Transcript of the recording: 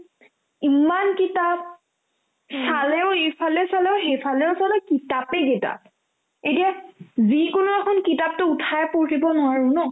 ইমান কিতাপ চালেও ইফালে চালেও সিফালেও চালো কিতাপে কিতাপ এতিয়া যিকোনো এখন কিতাপতো উঠাই পঢ়িব নোৱাৰো ন